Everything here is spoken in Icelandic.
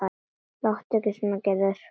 Láttu ekki svona Gerður.